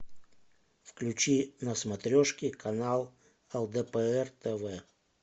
включи на смотрешке канал лдпр тв